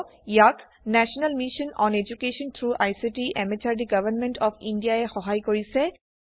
ইয়াক national mission on education through ICT MHRD government of India ই সহায় কৰিছে